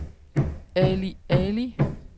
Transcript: Ali Ali